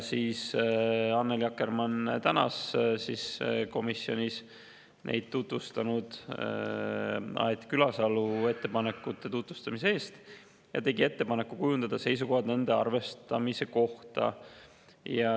Annely Akkermann tänas komisjonis Aet Külasalu ettepanekute tutvustamise eest ja tegi ettepaneku kujundada seisukohad nende arvestamise kohta.